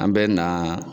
An bɛ na